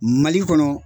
Mali kɔnɔ